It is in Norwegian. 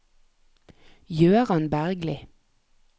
Gøran Bergli